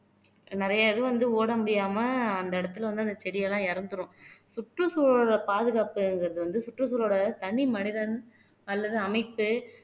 நிறைய இது வந்து ஓட முடியாம அந்த இடத்துல வந்து அந்த செடியெல்லாம் இறந்துரும் சுற்றுச்சூழலை பாதுகாப்புங்கறது வந்து சுற்றுச்சூழலோட தனி மனிதன் அல்லது அமைத்து